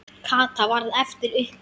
Kata varð eftir uppi.